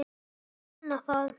Ég vonaði það.